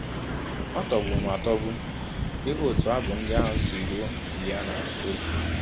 Ọ tọgbụrụ m atọgbu ịhụ ọtụ abụ ndị ahụ si rụọ Juliana n’ọbi!